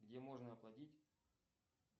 где можно оплатить